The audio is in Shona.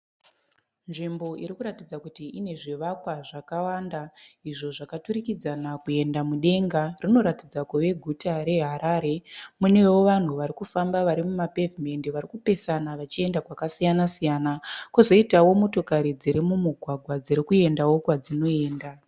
Nzvimbo irikuratidza kuti ine zvivakwa zvakawanda. Izvo zvakaturikidzana kuenda mudenga. Rinoratidza kuva guta re Harare. Munewo vanhu varikufamba vari mu pavement varikupesana vachienda kwakasiyana kozoitawo motokari dziri mumugwagwa dzirikuyenda kwadziri kuyenda.